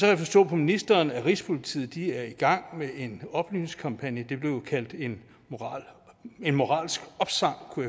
jeg forstå på ministeren at rigspolitiet er i gang med en oplysningskampagne det blev kaldt en moralsk opsang kunne